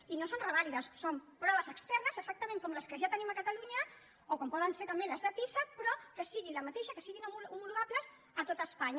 i no són revàlides són proves externes exactament com les que ja tenim a catalunya o com poden ser també les de pisa però que siguin la mateixa que siguin homologables a tot espanya